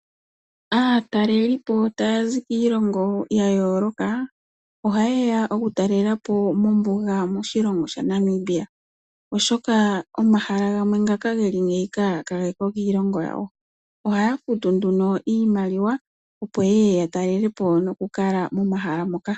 Aatalelipo taya zi kiilongo ya yooloka, ohaye ya okutalelapo mombuga moshilongo shaNamibia, oshoka omahala gamwe ngoka geli ngaaka ka geko kiilongo yawo. Ohaya futu nduno iimaliwa, opo yeye yatalelepo noku kala momahala moka.